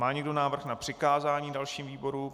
Má někdo návrh na přikázání dalším výborům?